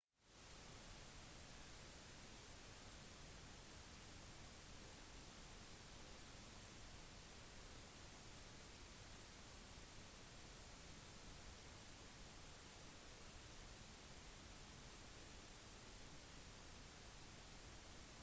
som motiv er dyreliv blant fotografens største utfordringer og for å kunne ta et godt bilde trenger man en kombinasjon av flaks tålmodighet erfaring og egnet utstyr